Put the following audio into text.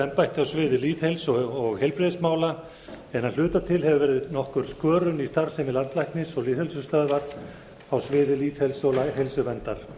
embætti á sviði lýðheilsu og heilbrigðismála en að hluta til hefur verið nokkur skörun í starfsemi landlæknis og lýðheilsustöðvar á sviði lýðheilsu og heilsuverndar